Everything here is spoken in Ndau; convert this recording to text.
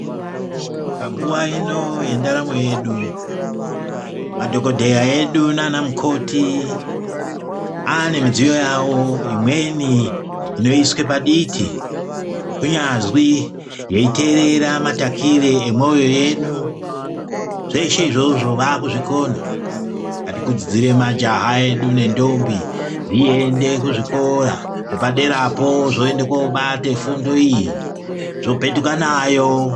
Panguwa ino yendaramo yedu madhokodheya edu naanamukoti anemidziyi yavo inoiswa paditi kunyazwi veiteerera matakire emwoyo yedu zveshe izvozvo vaakuzvikona ngatikurudzire majaha edu nendombi dxiende kuzvikora zvepaderapo zvitenda koobata fundo iyi zvopetuka nayo.